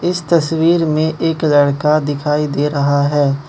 इस तस्वीर में एक लड़का दिखाई दे रहा है।